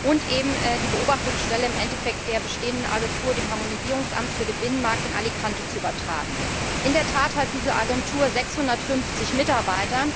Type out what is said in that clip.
und die Aufgaben der Beobachtungsstelle im Endeffekt der bestehenden Agentur, dem Harmonisierungsamt für den Binnenmarkt in Alicante zu übertragen. In der Tat hat diese Agentur 650 Mitarbeiter,